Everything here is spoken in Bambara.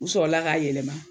U sɔrɔla k'a yɛlɛma